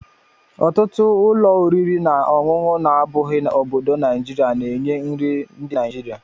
Ọtụtụ ụlọ oriri na ọṅụṅụ na-abụghị obodo naijiria na-enye nri ndị Naijiria